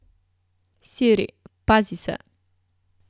Siri, pazi se!